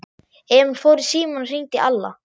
Emil fór í símann og hringdi í Alla.